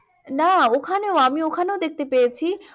না ওখানেও আমি ওখানেও দেখতে পেয়েছি।